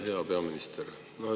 Hea peaminister!